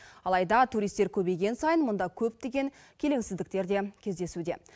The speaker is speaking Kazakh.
алайда туристер көбейген сайын мұнда көптеген келеңсіздіктер де кездесуде